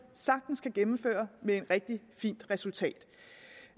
sagtens kan gennemføre med et rigtig fint resultat